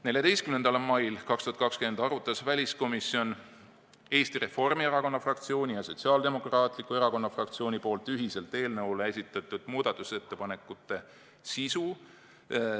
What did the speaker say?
14. mail 2020 arutas väliskomisjon Eesti Reformierakonna fraktsiooni ja Sotsiaaldemokraatliku erakonna fraktsiooni ühiselt esitatud muudatusettepaneku sisu.